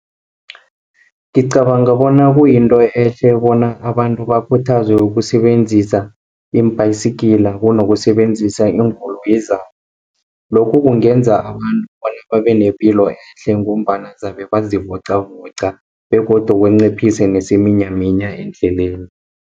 Ngicabanga bona kuyinto ehle, bona abantu bakhuthazwe ukusebenzisa iimbhayisigila, kunokusebenzisa iinkoloyi zabo. Lokhu kungenza abantu bona babenepilo ehle, ngombana zabe bazivoqavoqa, begodu banciphise nesiminyaminya endleleni.